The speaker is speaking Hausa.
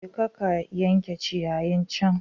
Jeka ka yanke ciyayin can